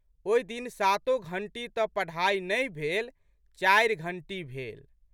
ओहि दिन सातो घंटी तऽ पढ़ाइ नहि भेल, चारि घंटी भेल।